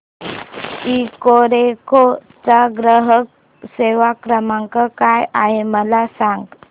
Ecoreco चा ग्राहक सेवा क्रमांक काय आहे मला सांग